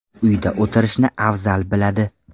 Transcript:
Uyda o‘tirishni afzal biladi.